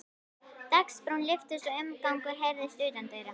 Dagsbrún lyftist og umgangur heyrðist utandyra.